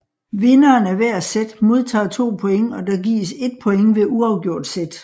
Vinderen af hver set modtager 2 points og der gives 1 point ved uafgjorte set